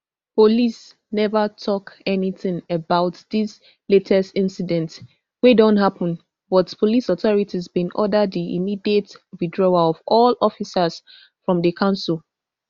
police never tok anytin about dis latest incidents wey don happen but police authorities bin order di immediate withdrawal of all officers from di council